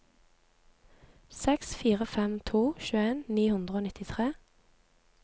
seks fire fem to tjueen ni hundre og nittitre